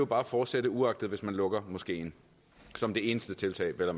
bare fortsætte uagtet at man lukker moskeen som det eneste tiltag vel